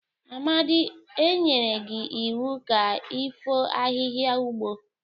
Amadi, e nyere gi iwu ka ifo ahihia ugbo!